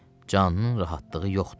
Canının rahatlığı yoxdur.